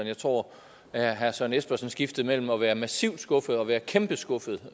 jeg tror at herre søren espersen skiftede mellem at være massivt skuffet og være kæmpe skuffet